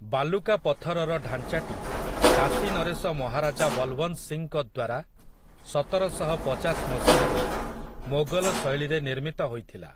ବାଲୁକା ପଥରର ଢାଞ୍ଚାଟି କାଶୀ ନରେଶ ମହାରାଜା ବଲୱନ୍ତ ସିଂଙ୍କ ଦ୍ୱାରା ସତରଶହ ପଚାଶ ମସିହାରେ ମୋଗଲ ଶୈଳୀରେ ନିର୍ମିତ ହୋଇଥିଲା ।